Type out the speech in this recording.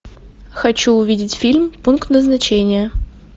хочу увидеть фильм пункт назначения